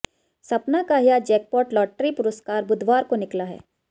सपना का यह जैकपाॅट लाटरी पुरस्कार बुधवार को निकला है